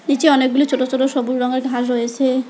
নীচে অনেকগুলো ছোট ছোট সবুজ রংয়ের ঘাস হয়েছে।